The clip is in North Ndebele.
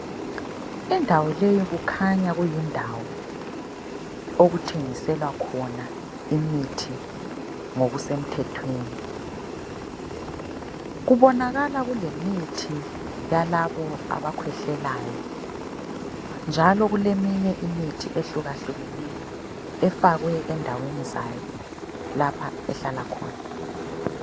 Indawo leyi kukhanya kuyindawo okuthengiselwakhona imithi ngokusemthethweni. Kubonakala kulemithi yalabo abakhwehlelayo, njalo kuleminye imithi ehlukahlukeneyo efakwe endaweni zayo lapha ehlalakhona.